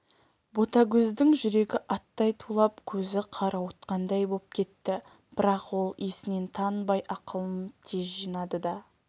ботагөздің жүрегі аттай тулап көзі қарауытқандай боп кетті бірақ ол есінен танбай ақылын тез жинады да